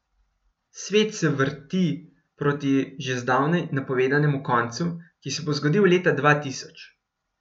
Svet se vrti proti že zdavnaj napovedanemu koncu, ki se bo zgodil leta dva tisoč.